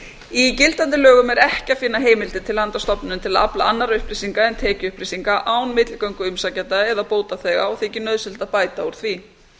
í gildandi lögum er ekki að finna heimildir til hana stofnuninni til að afla annarra upplýsinga en tekjuupplýsinga án milligöngu umsækjanda eða bótaþega og þykir nauðsynlegt að bæta úr því